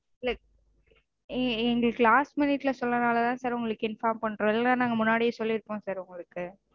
இல்ல எங்க எங்களுக்கு last minute -ல சொல்றதுனாலதா sir உங்களுக்கு inform பண்றோம் இல்லனா நாங்க முன்னாடியே சொல்லிருப்போம் sir உங்களுக்கு